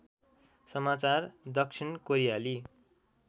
समाचार दक्षिण कोरियाली